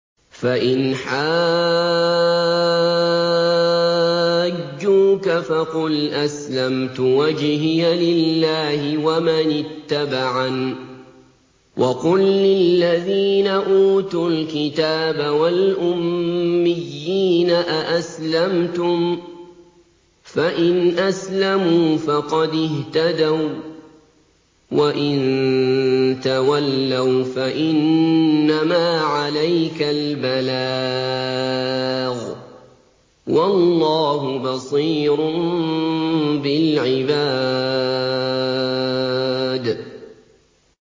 فَإِنْ حَاجُّوكَ فَقُلْ أَسْلَمْتُ وَجْهِيَ لِلَّهِ وَمَنِ اتَّبَعَنِ ۗ وَقُل لِّلَّذِينَ أُوتُوا الْكِتَابَ وَالْأُمِّيِّينَ أَأَسْلَمْتُمْ ۚ فَإِنْ أَسْلَمُوا فَقَدِ اهْتَدَوا ۖ وَّإِن تَوَلَّوْا فَإِنَّمَا عَلَيْكَ الْبَلَاغُ ۗ وَاللَّهُ بَصِيرٌ بِالْعِبَادِ